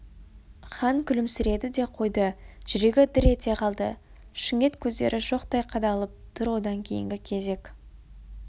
хан күлімсіреді де қойды жүрегі дір ете қалды шүңет көздері шоқтай қадалып тұр одан кейінгі кезек